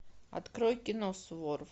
открой кино суворов